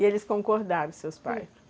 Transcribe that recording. E eles concordaram, seus pais?